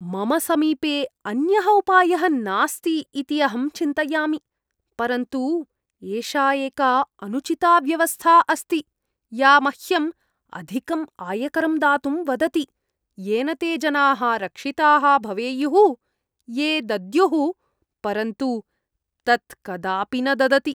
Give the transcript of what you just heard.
मम समीपे अन्यः उपायः नास्ति इति अहं चिन्तयामि, परन्तु एषा एका अनुचिता व्यवस्था अस्ति या मह्यम् अधिकम् आयकरं दातुं वदति येन ते जनाः रक्षिताः भवेयुः ये दद्युः परन्तु तत् कदापि न ददति।